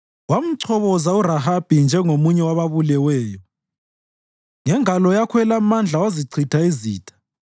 Wamchoboza uRahabi njengomunye wababuleweyo; ngengalo yakho elamandla wazichitha izitha.